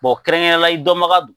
kɛrɛnkɛrɛnnenyala i dɔnbaga don.